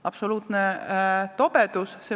Absoluutne tobedus.